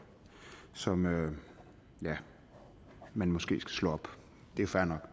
som ja man måske skal slå op det er fair nok